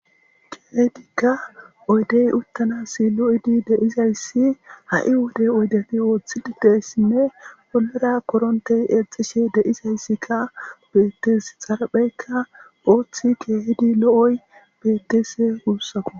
keydikka oydey uttanasi lo7idi deizayssi ha7i wodey oydefi ooththilidessinne polera korontey eexishe deizayssikka bettes xarapheykka ooththi keehidi lo7oy bettese uussaku